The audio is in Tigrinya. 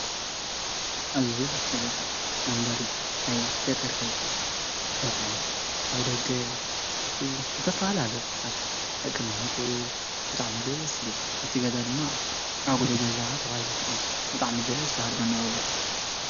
ኣዝዩ ደስ ዝብለካ መንበሪ ናይ ገጠር ገዛ ኣቕሑት ኣብ ደገ ዝተፈላለዩ ዓይታት ኣቀማመጥኡ ብጣዕሚ ደስ ዝብል እቲ ገዛ ድማ ዓጕሎ ገዛ ተባሂሉ ይፍለጥ ብጣዕሚ ደስ በሃሊ መነባብሮ እዩ